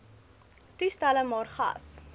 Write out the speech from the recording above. toestelle maar gas